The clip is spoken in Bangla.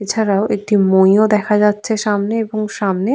এছাড়াও একটি মই ও দেখা যাচ্ছে সামনে এবং সামনে--